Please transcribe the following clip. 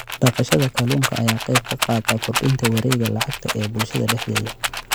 Dhaqashada kalluunka ayaa ka qayb qaadata kordhinta wareegga lacagta ee bulshada dhexdeeda.